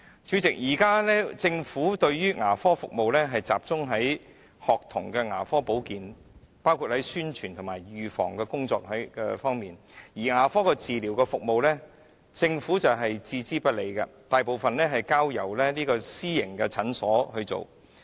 主席，現時政府的牙科服務集中於學童牙科保健，包括在宣傳及預防的工作方面，但牙科治療服務卻置之不理，大部分交由私營診所負責。